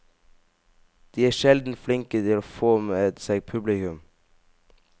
De er sjelden flinke til å få med seg publikum.